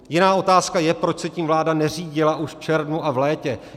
Jiná otázka je, proč se tím vláda neřídila už v červnu a v létě.